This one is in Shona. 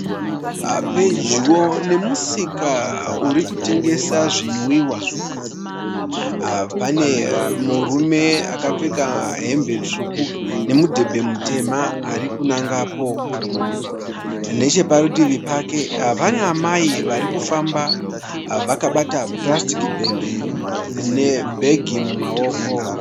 Pedyo nemusika urikutengesa zvinwiwa, pane murume akapfeka hembe tsvuku nemudhebhe mutema arikunangapo. Necheparutivi pake pana amai vari kufamba vakabata purasitiki bhegi nebhegi mumaoko.